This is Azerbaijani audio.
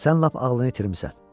Sən lap ağlını itirmisən.